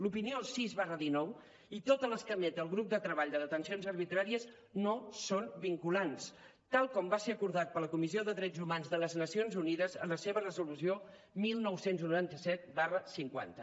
l’opinió sis dinou i totes les que emet el grup de treball de detencions arbitràries no són vinculants tal com va ser acordat per la comissió de drets humans de les nacions unides en la seva resolució dinou noranta set cinquanta